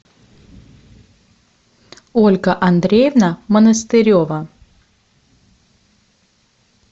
ольга андреевна монастырева